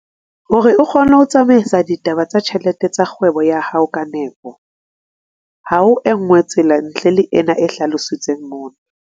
Hore o kgone ho tsamaisa ditaba tsa ditjhelete tsa kgwebo ya hao ka nepo, ha ho e nngwe tsela ntle le ena e hlalositsweng mona.